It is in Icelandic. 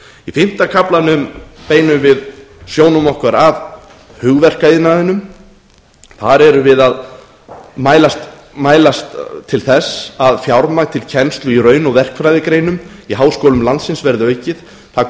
í fimmta kaflanum beinum við sjónum okkar að hugverkaiðnaðinum þar erum við að mælast til þess að fjármagn til kennslu í raun og verkfræðigreinum í háskólum landsins verði aukið það